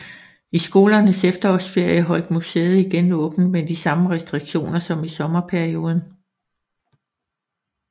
I skolernes efterårsferie holdt museet igen åbent med de samme restriktioner som i sommerperioden